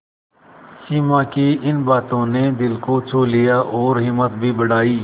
सिमा की इन बातों ने दिल को छू लिया और हिम्मत भी बढ़ाई